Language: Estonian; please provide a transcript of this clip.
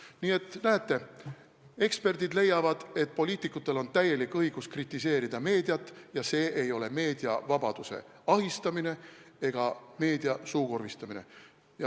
" Nii et näete, eksperdid leiavad, et poliitikutel on täielik õigus meediat kritiseerida ja see ei ole meediavabaduse ahistamine ega meedia suukorvistamine.